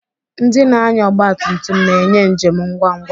Ndị na-anya ọgba tum tum na-enye njem ngwa ngwa.